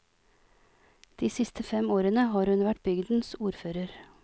De siste fem årene har hun vært bygdens ordfører.